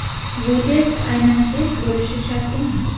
Bu test aynan test bo‘lishi shart emas.